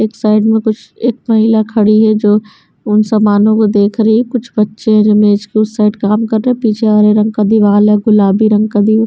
एक साइड में कुछ एक महिला खड़ी है जो उन समानों को देख रही है कुछ बच्चे हैं जो मेज़ के उस साइड काम कर रहे हैं पीछे हरे रंग का दीवाल है गुलाबी रंग का दी --